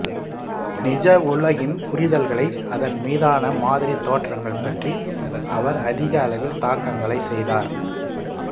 நிஜ உலகின் புரிதல்களை அதன் மீதான மாதிரி தோற்றங்கள் பற்றி அவர் அதிக அளவில் தாக்கங்களை செய்தார்